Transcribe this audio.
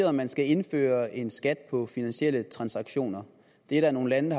om man skal indføre en skat på finansielle transaktioner det er der nogle lande